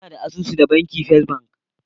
Ina da asusu da banki First bank.